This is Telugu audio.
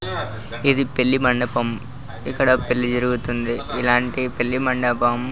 హ్హ ఇది పెళ్లి మండపం ఇక్కడ పెళ్లి జరుగుతుంది ఎలాటి పెళ్లి మండపం --